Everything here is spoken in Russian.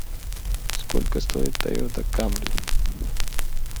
сколько стоит тойота камри